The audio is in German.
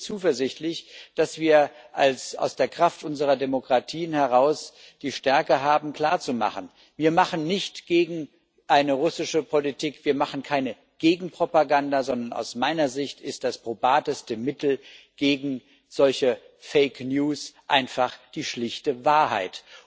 Ich bin zuversichtlich, dass wir aus der Kraft unserer Demokratie heraus die Stärke haben, klarzumachen Wir machen nichts gegen eine russische Politik, wir machen keine Gegenpropaganda, sondern aus meiner Sicht ist das probateste Mittel gegen solche Fake News einfach die schlichte Wahrheit.